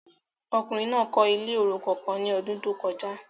Ọkùnrin náà kọ ilé orukan kàn ní ọdun to kọjá